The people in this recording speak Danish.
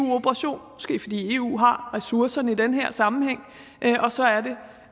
eu operation måske fordi eu har ressourcerne i den her sammenhæng og så